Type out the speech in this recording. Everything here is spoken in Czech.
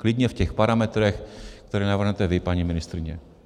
Klidně v těch parametrech, které navrhnete vy, paní ministryně.